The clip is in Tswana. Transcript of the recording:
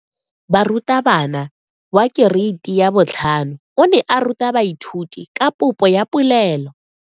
Moratabana wa kereiti ya 5 o ne a ruta baithuti ka popoya polelo.